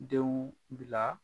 Denw bila